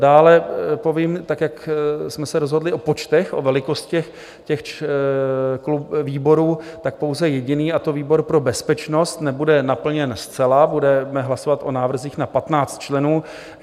Dále povím, tak jak jsme se rozhodli o počtech, o velikostech těch výborů, tak pouze jediný, a to výbor pro bezpečnost nebude naplněn zcela, budeme hlasovat o návrzích na 15 členů.